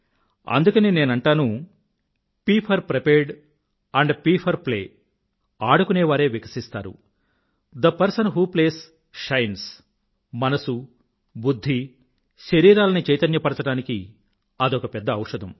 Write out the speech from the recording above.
అందుకనే నేను అంటాను ప్ ఫోర్ ప్రిపేర్డ్ ఆండ్ ప్ ఫోర్ ప్లే ఆడుకునేవారే వికసిస్తారు the person who plays shines ఇ మనసు బుధ్ధి శరీరాలని చైతన్యపరచడానికి అదొక పెద్ద ఔషధం